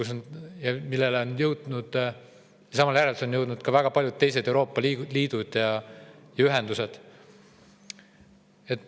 Samale järeldusele on jõudnud ka väga paljud teised Euroopa Liidu ühendused.